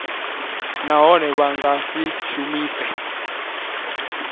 nahone vha nga si shumise